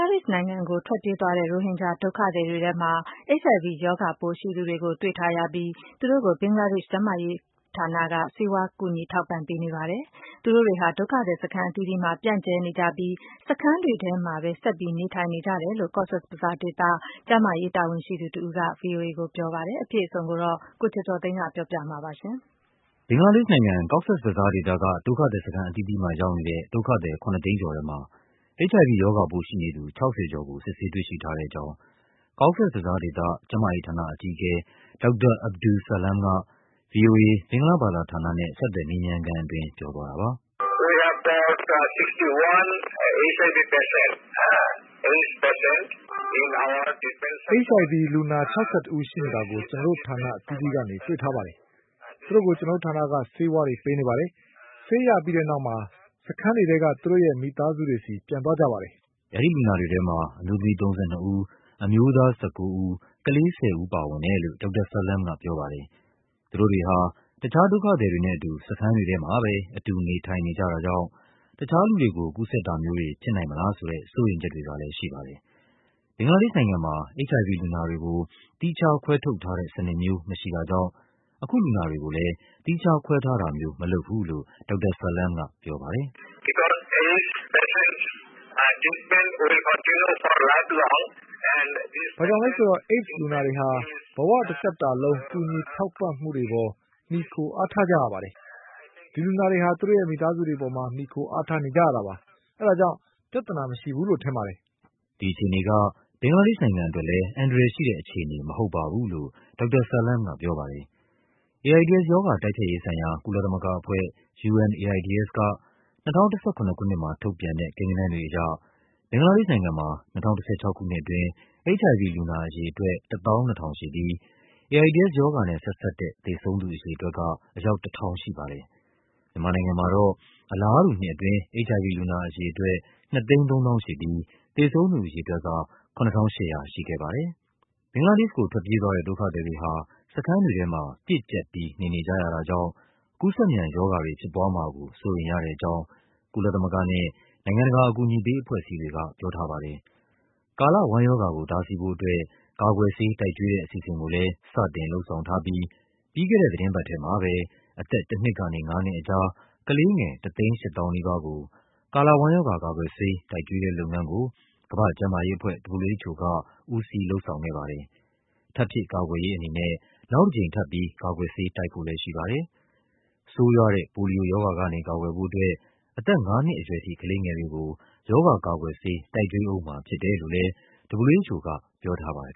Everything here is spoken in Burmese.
ေ့ရှ်နိုင်ငံကို ထွက်ပြေးသွားတဲ့ ရိုဟင်ဂျာဒုက္ခသည်တွေထဲမှာ HIV ရောဂါပိုးရှိနေသူတွေကို တွေ့ထားရပြီး သူတို့ကို ဘင်္ဂလားဒေ့ရှ် ကျန်းမာရေးဌာနက ဆေးဝါး ကူညီထောက်ပံ့ပေးနေပါတယ်။ သူတို့တွေဟာ ဒုက္ခသည်စခန်းအသီးသီးမှာ ပြန့်ကျဲနေကြပြီး စခန်းတွေထဲမှာပဲ ဆက်ပြီး နေထိုင်နေကြတယ်လို့ Cox’s Bazar ဒေသ ကျန်းမာရေးတာဝန်ရှိသူတဦးက ဗွီအိုအေ ကိုပြောပါတယ်။ အပြည့်အစုံကို ကိုကျော်ကျော်သိန်းက ပြောပြပါမယ်။ ဘင်္ဂလားဒေ့ရှ်နိုင်ငံ၊ Cox’s Bazar ဒေသက ဒုက္ခသည်စခန်းအသီးသီးမှာ ရောက်နေတဲ့ ဒုက္ခသည် ၇၀၀,၀၀၀ ကျော်ထဲမှာ HIV ရောဂါပိုးရှိနေသူ ၆၀ ကျော်ကို စစ်ဆေးတွေ့ရှိထားတဲ့အကြောင်း Cox’s Bazar ဒေသ၊ ကျန်းမာရေးဌာန အကြီးအကဲ ဒေါက်တာ Abdus Salam က ဗွီအိုအေ ဘင်္ဂလားဘာသာဌာနနဲ့ ဆက်သွယ်မေးမြန်းခန်းအတွင်း ပြောသွားတာပါ။ “HIV လူနာ ၆၁ ဦးရှိနေတာကို ကျနော်တို့ဌာနအသီးသီးကနေ တွေ့ထားပါတယ်။ သူတို့ကို ကျနော်တို့ဌာနက ဆေးဝါး ပေးနေပါတယ်။ ဆေးရပြီးတဲ့နောက် စခန်းတွေထဲက သူတို့မိသားစုတွေဆီ ပြန်သွားကြပါတယ်။” အဲဒီလူနာတွေထဲမှာ အမျိုးသမီး ၃၂ ဦး၊ အမျိုးသား ၁၉ ဦး၊ ကလေး ၁၀ ဦးပါဝင်တယ်လို့ ဒေါက်တာ Salam ကပြောပါတယ်။ သူတို့တွေဟာ တခြားဒုက္ခသည်တွေနဲ့အတူ စခန်းတွေထဲမှာပဲ အတူ နေထိုင်နေကြတာကြောင့် တခြားလူတွေကို ကူးစက်တာမျိုး တွေဖြစ်နိုင်မလားဆိုတဲ့ စိုးရိမ်ချက်တွေကလဲ ရှိပါတယ်။ ဘင်္ဂလားဒေ့ရှ်နိုင်ငံမှာ HIV လူနာတွေကို သီးခြားခွဲထုတ်ထားတဲ့စနစ်မျိုး မရှိတာကြောင့် အခုလူနာတွေကိုလဲ သီးခြားခွဲထားတာ မျိုးမလုပ်ဘူးလို့ ဒေါက်တာ Salam ကပြောပါတယ်။ “ဘာကြောင့်လဲဆိုတော့ AIDS လူနာတွေဟာ ဘဝတသက်တာလုံး ကူညီထောက်ပံ့မှုပေါ် မှီခို အားထားကြရပါတယ်။ ဒီလူနာတွေဟာ သူတို့ရဲ့ မိသားစုတွေပေါ် မှီခိုအားထားနေကြရတာပါ။ ဒါကြောင့် ပြဿနာမရှိဘူးလို့ ကျနော်ထင်ပါတယ်။” ဒီအခြေအနေက ဘင်္ဂလားဒေ့ရှ်နိုင်ငံအတွက်လဲ အန္တရာယ်ရှိတဲ့အခြေအနေ မဟုတ်ပါဘူးလို့ ဒေါက်တာ Salam ကပြောပါတယ်။ AIDS ရောဂါ တိုက်ဖျက်ရေးဆိုင်ရာ ကုလသမဂ္ဂအဖွဲ့ UNAIDS က ၂၀၁၇ ခုနှစ်မှာ ထုတ်ပြန်တဲ့ ကိန်းဂဏန်းတွေအရ ဘင်္ဂလား ဒေ့ရှ်နိုင်ငံမှာ ၂၀၁၆ ခုနှစ်အတွင်း HIV လူနာအရေအတွက် ၁၂,၀၀၀ ရှိပြီး AIDS ရောဂါနဲ့ဆက်စပ်တဲ့ သေဆုံးသူအရေအတွက် က အယောက် ၁,၀၀၀ ရှိပါတယ်။ မြန်မာနိုင်ငံမှာတော့ အလားတူနှစ်အတွင်း HIV လူနာအရေအတွက် ၂၃၀,၀၀၀ ရှိပြီး သေဆုံး သူအရေအတွက်က ၇,၈၀၀ ရှိခဲ့ပါတယ်။ ဘင်္ဂလားဒေ့ရှ်ကို ထွက်ပြေးသွားတဲ့ ဒုက္ခသည်တွေဟာ စခန်းတွေထဲမှာ ပြည့်ကျပ်ပြီး နေနေကြရတာကြောင့် ကူးစက်မြန်ရောဂါ တွေဖြစ်ပွားမှာကို စိုးရိမ်ရတဲ့အကြောင်း ကုလသမဂ္ဂနဲ့ နိုင်ငံတကာ အကူအညီပေးအဖွဲ့အစည်းတွေက ပြောထားပါတယ်။ ကာလဝမ်းရောဂါကို တားဆီးဖို့အတွက် ကာကွယ်ဆေး တိုက်ကျွေးတဲ့အစီအစဉ်ကိုလဲ စတင် လုပ်ဆောင်ထားပြီး ပြီးခဲ့တဲ့ သီတင်းပတ်ထဲမှာပဲ အသက် ၁ နှစ်ကနေ ၅ နှစ်ကြား ကလေးငယ် ၁၈၀,၀၀၀ နီးပါးကို ကာလဝမ်းရောဂါ ကာကွယ်ဆေး တိုက်ကျွေးတဲ့လုပ်ငန်းကို ကမ္ဘာ့ကျန်းမာရေးအဖွဲ့ WHO က ဦးစီး လုပ်ဆောင်ခဲ့ပါတယ်။ ထပ်ဖြည့်ကာကွယ်ရေးအနေနဲ့ နောက် တကြိမ်ထပ်ပြီး ကာကွယ်ဆေး တိုက်ဖို့လဲရှိပါတယ်။ ဆိုးရွားတဲ့ ပိုလီယိုရောဂါကနေ ကာကွယ်ဖို့အတွက် အသက်ငါးနှစ်အရွယ်ထိ ကလေးငယ်တွေကို ရောဂါကာကွယ်ဆေး တိုက်ကျွေးဦးမှာဖြစ်တယ်လို့လဲ WHO က ပြောထားပါတယ်